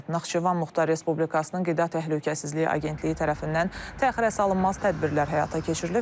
Naxçıvan Muxtar Respublikasının Qida Təhlükəsizliyi Agentliyi tərəfindən təxirəsalınmaz tədbirlər həyata keçirilib.